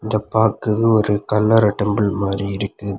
இது பாக்குறது ஒரு கல்லற டெம்பிள் மாரி இருக்குது.